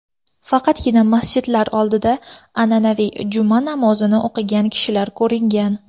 Faqatgina masjidlar oldida an’anaviy juma namozini o‘qigan kishilar ko‘ringan.